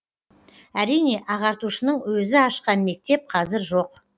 әрине ағартушының өзі ашқан мектеп қазір жоқ